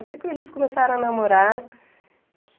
Eu sei que eles começaram a namorar que...